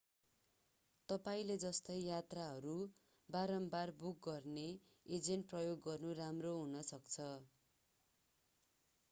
तपाईंले जस्तै यात्राहरू बारम्बार बुक गर्ने एजेन्ट प्रयोग गर्नु राम्रो हुनसक्छ